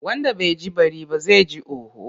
Wanda bai ji bari ba, zai ji hoho.